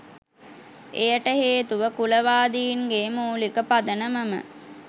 එයට හේතුව කුලවාදීන්ගේ මූලික පදනමම